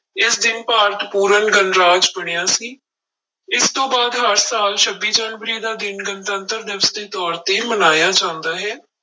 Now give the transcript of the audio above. ਇਸ ਦਿਨ ਭਾਰਤ ਪੂਰਨ ਗਣਰਾਜ ਬਣਿਆ ਸੀ, ਇਸ ਤੋਂ ਬਾਅਦ ਹਰ ਸਾਲ ਛੱਬੀ ਜਨਵਰੀ ਦਾ ਦਿਨ ਗਣਤੰਤਰ ਦਿਵਸ ਦੇ ਤੌਰ ਤੇ ਮਨਾਇਆ ਜਾਂਦਾ ਹੈ।